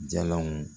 Jalanw